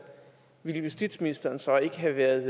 ville justitsministeren så ikke have været